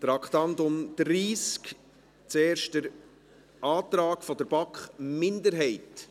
Traktandum 30, zuerst der Antrag der BaK-Minderheit.